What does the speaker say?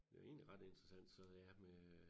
Det jo egentlig ret interessant så ja med